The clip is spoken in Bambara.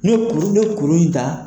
N'u ye kuru, n'u ye kuru in ta